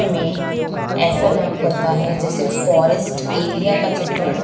हमें ऐसा जान पड़ता है जैसे फॉरेस्ट एरिया का चित्रण-- --